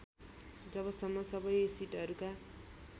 जबसम्म सबै सिटहरूका